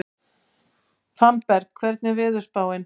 Fannberg, hvernig er veðurspáin?